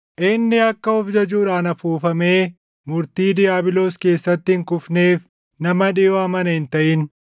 Inni akka of jajuudhaan afuufamee murtii diiyaabiloos keessatti hin kufneef nama dhiʼoo amane hin taʼin.